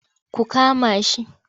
Ku kama shi!